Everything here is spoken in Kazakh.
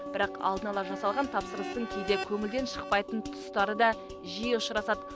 бірақ алдын ала жасалған тапсырыстың кейде көңілден шықпайтын тұстары да жиі ұшырасады